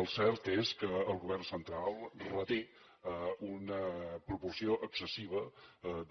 el cert és que el govern central reté una proporció excessiva